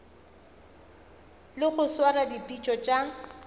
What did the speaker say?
le go swara dipitšo tša